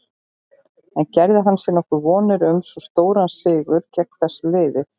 En gerði hann sér nokkuð vonir um svo stóran sigur gegn þessu liði?